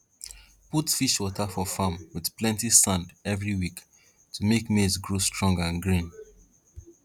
put fish water for farm with plenty sand every week to make maize grow strong and green